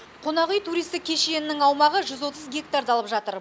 қонақүй туристік кешенінің аумағы жүз отыз гектарды алып жатыр